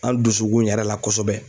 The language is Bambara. An dusukun yɛrɛ la kosɔbɛ.